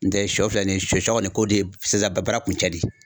N tɛ sɔ filɛ nin ye sɔ sɔ kɔni ko de ye sisan baara kuncɛ de ye